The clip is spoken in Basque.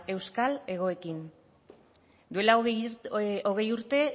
euskal hegoekin duela hogei urte